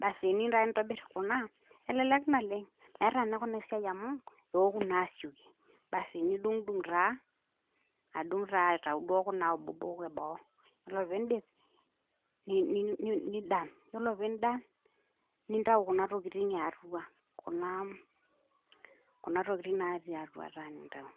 Basi teniyou taata nintobirr Kuna, elelek naleng'. Meata ninye Kuna esiai amu keoku naa asioki basi nidung'dung' taa adung' taa aitayu Kuna abobok e boo, nelo piindip, nindan, iyiolo pindan, nintayu Kuna tokitin e atua Kuna tukitin natii atua taa intayu.